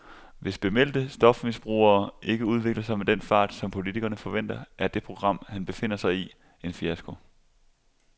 Hvis bemeldte stofmisbrugere ikke udvikler sig med den fart, som politikerne forventer, er det program, han befinder sig i, en fiasko.